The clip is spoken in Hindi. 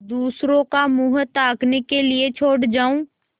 दूसरों का मुँह ताकने के लिए छोड़ जाऊँ